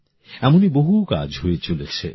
এমনই বহু কাজ হয়ে চলেছে